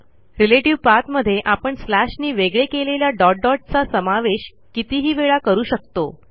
relative पाठ मध्ये आपण स्लॅशनी वेगळे केलेल्या डॉट डॉट चा समावेश कितीही वेळा करू शकतो